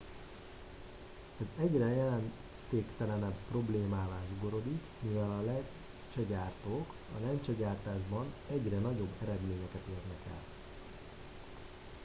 ez egyre jelentéktelenebb problémává zsugorodik mivel a lencsegyártók a lencsegyártásban egyre nagyobb eredményeket érnek el